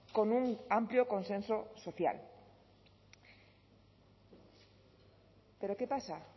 con un amplio consenso social pero qué pasa